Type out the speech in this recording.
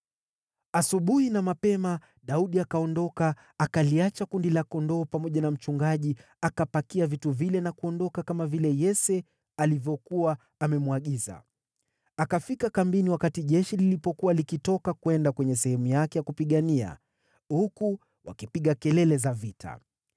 Asubuhi na mapema Daudi akaondoka, akaliacha kundi la kondoo pamoja na mchungaji, akapakia vitu vile na kuondoka, kama vile Yese alivyokuwa amemwagiza. Akafika kambini wakati jeshi lilikuwa likitoka kwenda kwenye sehemu yake ya kupigania, huku wakipiga kelele za vita.